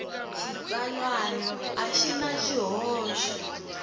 xitsalwana a xi na swihoxo